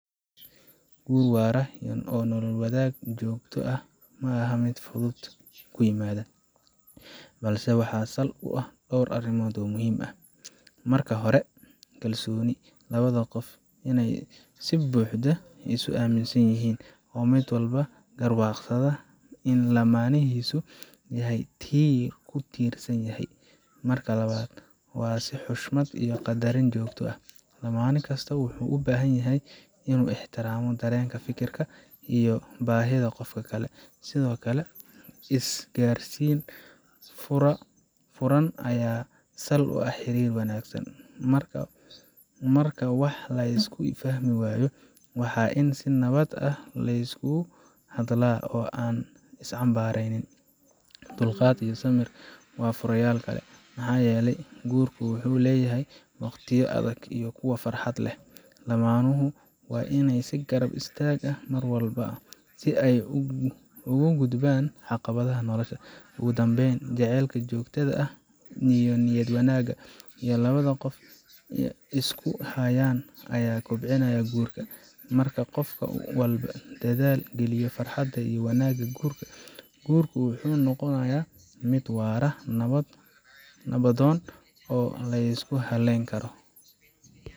Guur waara iyo nolol wadaag joogto ah ma aha wax si fudud ku yimaada, balse waxa sal u ah dhowr arrimood oo muhiim ah. Marka hore waa kalsooni labada qof waa inay si buuxda isu aaminaan, oo mid walba garwaaqsadaa in lamaanihiisu yahay tiir uu ku tiirsan yahay. Mark labaad waa is xushmad iyo qadarin joogto ah. Lamaane kasta wuxuu u baahan yahay inuu ixtiraamo dareenka, fikirka, iyo baahida qofka kale. Sidoo kale, isgaarsiin furan ayaa sal u ah xiriir wanaagsan marka wax la isku fahmi waayo, waa in si nabad ah la iskula hadlaa oo aan la is cambaareyn. Dulqaad iyo samir waa furayaal kale, maxaa yeelay guurku wuxuu leeyahay waqtiyo adag iyo kuwo farxad leh. Lamaanuhu waa inay is garab istaagaan mar walba, si ay uga gudbaan caqabadaha nolosha. Ugu dambayn, jacaylka joogtada ah iyo niyad wanaagga ay labada qof isku hayaan ayaa kobcinaya guurka. Marka qof walba dadaal geliyo farxadda iyo wanaagga guriga, guurku wuxuu noqonayaa mid waara, nabdoon, oo la isku halayn karo.